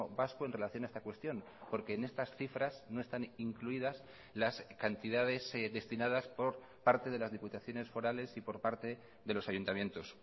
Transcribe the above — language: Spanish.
vasco en relación a esta cuestión porque en estas cifras no están incluidas las cantidades destinadas por parte de las diputaciones forales y por parte de los ayuntamientos